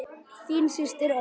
Þín systir, Ósk.